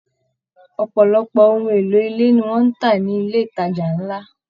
Ọpọlọpọ ohùn èlò ilé ní wọn n tá nilé ìtajà nlá.